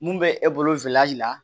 Mun bɛ e bolo la